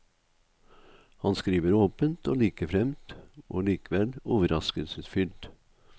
Han skriver åpent og likefremt og likevel overraskelsesfylt.